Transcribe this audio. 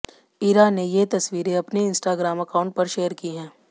इरा ने ये तस्वीरें अपने इंस्टाग्राम अकाउंट पर शेयर की है